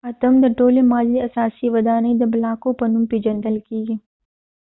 اټوم د ټولې مادې د اساسي ودانۍ د بلاکو په نوم پيژندل کيږي